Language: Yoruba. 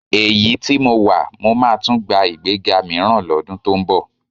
Èyí tí mo wà, mó máa tún gba ìgbéga mìíràn lọ́dún tó ń bọ̀